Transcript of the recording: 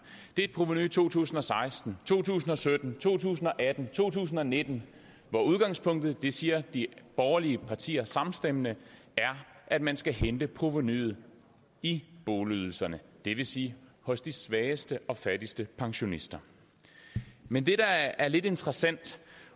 er et provenu i to tusind og seksten to tusind og sytten to tusind og atten to tusind og nitten og udgangspunktet det siger de borgerlige partier samstemmende er at man skal hente provenuet i boligydelserne det vil sige hos de svageste og fattigste pensionister men det der er lidt interessant